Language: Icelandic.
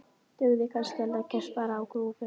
Dugði kannski að leggjast bara á grúfu?